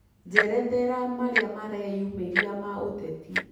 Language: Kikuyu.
njerethera marĩa mareyumiria ma uteti